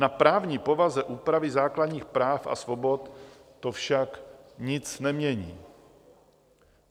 Na právní povaze úpravy základních práv a svobod to však nic nemění.